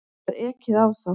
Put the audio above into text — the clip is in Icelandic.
Það var ekið á þá.